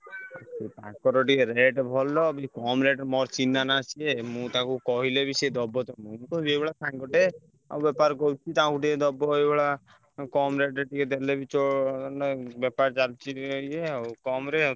ତାଙ୍କର ଟିକେ rate ଭଲ ବି କମ୍ rate ମୋର ଚିହ୍ନା ନା ସିଏ ମୁଁ ତାକୁ କହିଲେ ବି ସିଏ ଦବ ତମୁକୁ ଏଇଭଳିଆ ସାଙ୍ଗଟେ ଆଉ ବେପାର କରୁଛି ତାକୁ ଟିକେ ଦବ ଏଇଭଳିଆ ଉଁ କମ୍ rate ରେ ଟିକେ ଦେଲେ ବି ଚ~ ମାନେ ବେପାର ଚାଲିଛି ଟିକେ ଇଏ ଆଉ କମ୍ ରେ ଆଉ।